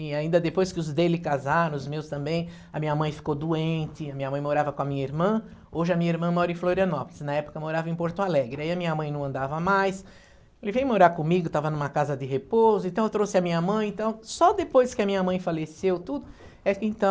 E ainda depois que os dele casaram, os meus também, a minha mãe ficou doente, a minha mãe morava com a minha irmã, hoje a minha irmã mora em Florianópolis, na época morava em Porto Alegre, aí a minha mãe não andava mais, ele veio morar comigo, estava numa casa de repouso, então eu trouxe a minha mãe, então só depois que a minha mãe faleceu, tudo, é que então...